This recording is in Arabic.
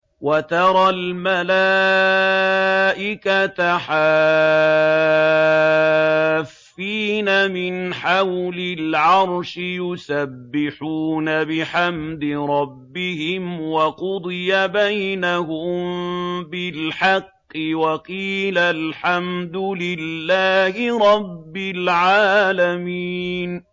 وَتَرَى الْمَلَائِكَةَ حَافِّينَ مِنْ حَوْلِ الْعَرْشِ يُسَبِّحُونَ بِحَمْدِ رَبِّهِمْ ۖ وَقُضِيَ بَيْنَهُم بِالْحَقِّ وَقِيلَ الْحَمْدُ لِلَّهِ رَبِّ الْعَالَمِينَ